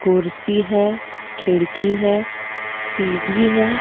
कुर्सी है खिड़की है सीडी है।